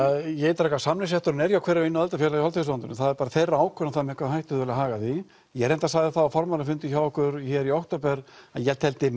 ég ítreka að samningsrétturinn er hjá hverju og einu aðildafélagi hjá Alþýðusambandinu en það er bara þeirra að ákveða með hvaða hætti þau vilja haga því ég reyndar sagði það á formannafundi hjá okkur í október að ég teldi